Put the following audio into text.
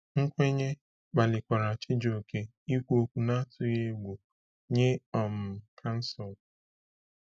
Nkwenye kpalikwara Chijioke ikwu okwu n’atụghị egwu nye um kansụl.